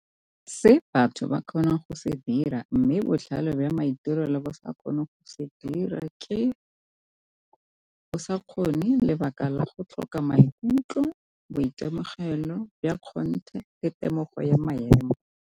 Se batho ba kgonang go se dira mme botlhale jwa maitirelo le bo sa gone go se dira ke bo sa kgone lebaka la go tlhoka maikutlo, boitemogelo ya kgonthe, le temogo ya maemo.